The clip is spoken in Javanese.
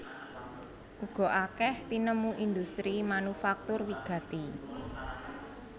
Uga akèh tinemu industri manufaktur wigati